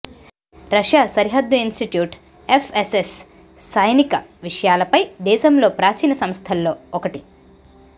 Russia సరిహద్దు institute F S S సైనిక విషయాలపై దేశంలో ప్రాచీన సంస్థల్లో ఒకటి